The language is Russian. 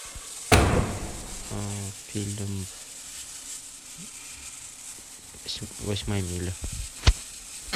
фильм восьмая миля